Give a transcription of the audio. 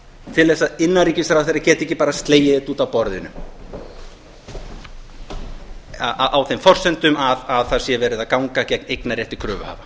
til þess að innanríkisráðherra geti ekki bara slegið þetta út af borðinu á þeim forsendum að það sé verið að ganga gegn eignarrétti kröfuhafa